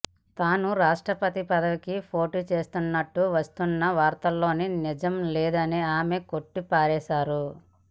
తాను రాష్ట్రపతి పదవికి పోటీ చేస్తున్నట్టు వస్తున్న వార్తల్లో నిజం లేదని ఆమె కొట్టిపారేశారు